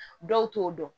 Dɔw t'o dɔn